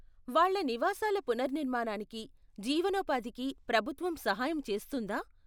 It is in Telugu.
వాళ్ళ నివాసాల పునర్నిర్మాణానికి, జీవనోపాధికి ప్రభుత్వం సహాయం చేస్తుందా?